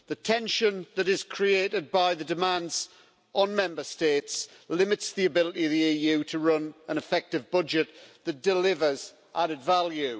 The tension that is created by the demands on Member States limits the ability of the EU to run an effective budget that delivers added value.